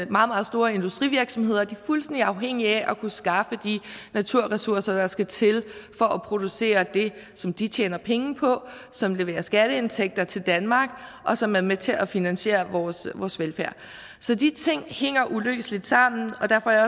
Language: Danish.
meget store industrivirksomheder er fuldstændig afhængige af at kunne skaffe de naturressourcer der skal til for at producere det som de tjener penge på som leverer skatteindtægter til danmark og som er med til at finansiere vores velfærd så de ting hænger uløseligt sammen og derfor er